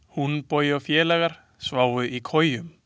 Húnbogi og félagar sváfu í kojum.